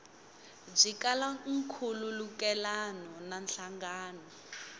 byi kala nkhulukelano na nhlangano